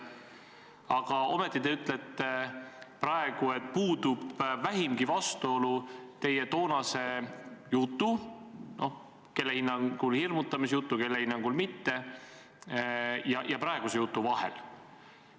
Aga ometi te ütlete praegu, et puudub vähimgi vastuolu teie toonase jutu – noh, kelle hinnangul hirmutamisjutu, kelle hinnangul mitte – ja praeguse jutu vahel.